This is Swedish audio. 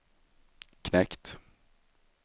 knekt